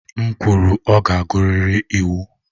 M kwuru, ọ ga-agụrịrị iwu!